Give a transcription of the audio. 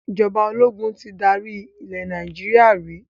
Ìjọba ológun tí dárí ilẹ̀ Nàìjíríà rí